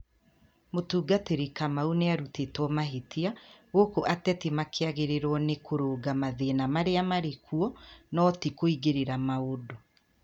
Mũtungatĩri Kamau nĩ arũtetwo mahĩtia, gũkũ ateti makĩagĩrĩirũo nĩ kũrũnga mathĩna marĩa marĩ kuo, no ti kũingĩrĩra maũndũ.